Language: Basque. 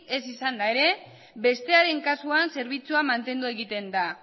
ez izanda erek bestearen kasuan zerbitzua mantendu egiten da